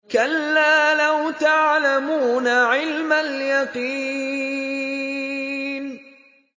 كَلَّا لَوْ تَعْلَمُونَ عِلْمَ الْيَقِينِ